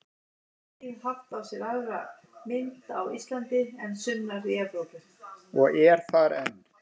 Og er þar enn.